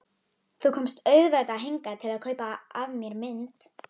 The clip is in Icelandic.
Þú komst auðvitað hingað til að kaupa af mér mynd.